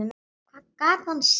Hvað gat hann sagt?